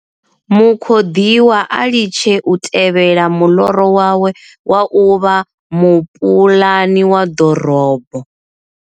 Mukhoḓiwa a litshe u tevhela muḽoro wawe wa u vha mupuḽani wa ḓorobo.